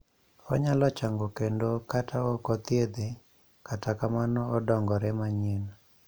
onyalo chango kende kata okothiedhe kata kamano odongore manyien